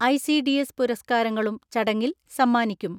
I C D S പുരസ്കാരങ്ങളും ചടങ്ങിൽ സമ്മാനിക്കും.